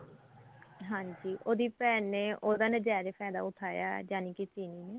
ਹਾਂਜੀ ਉਹਦੀ ਭੈਣ ਨੇ ਉਹਦਾ ਨਜਾਇਜ ਫਾਇਦਾ ਉਠਾਇਆ ਜਾਨੀ ਕੀ ਚੀਲੀ ਨੇ